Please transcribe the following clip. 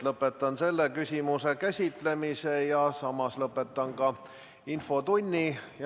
Lõpetan selle küsimuse käsitlemise ja samas lõpetan ka infotunni.